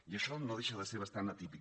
i això no deixa de ser bastant atípic